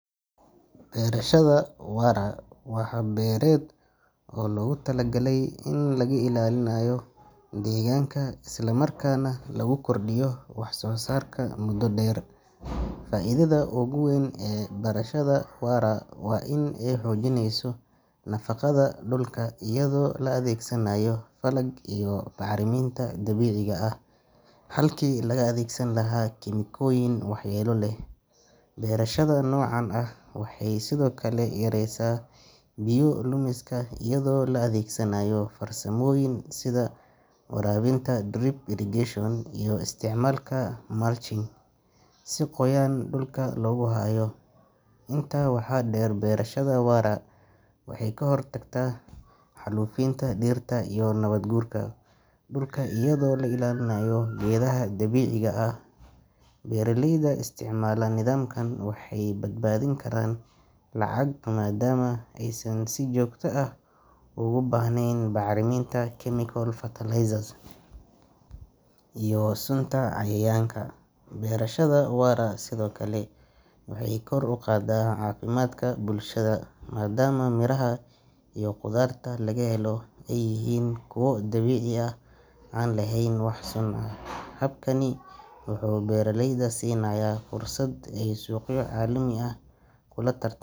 Qirashada waara wa xaab bered oo loogu talagalay in lagu ilaalinayo deegaanka islamarkaana lagu kordhiyo wax soo saarka muddo dheer faa idada ugu weyn ee barashada waa rag waa in ay xoojineyso nafaqada dhulka iyadoo la adeegsanayo falag iyo taarriminta dabiiciga ah halkii la adeegsan lahaa kem kooyin waxyeelo leh beerashada noocan ah waxay sidoo kale yareysaabiiyo lumiska iyadoo la adeegsanayo farsamooyin sida waraabinta drip irrigation iyo isticmaalka mulching si qoyan dhulka loogu hayo intaa waxaa dheer beerashada wara waxay ka hortagtaa xaalufinta dhirta iyo nabaad guurka dhulka iyadoo la ilaalinayo geedaha dabiiciga ah beeraleyda isticmaalaa nidaamka waxay badbaadin karaan lacag maadaama aysan si joogta ah ugu baahneyn bacriminta chemical fertilizers Iyo sunta ayaanka beerashada waara sidoo kale beerashada wara waxay sidoo kale kor uqada cafimatka bulshada maadama Miraha iyo qudharta laga helo eey yihin kuwa dabicii aah aan lehen wax suun eh habkani wuxu beeraleyda sinaya fursad aay suq yo calami aah kuladardaman.